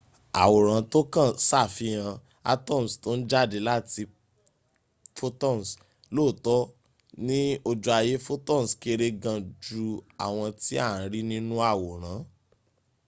àwòrán tókàn ṣàfihàn atoms tó ń jáde láti photons. lóòtọ́ ní ojú ayé photons kéré gan jú àwọn tí à ń rí nínu àwòrán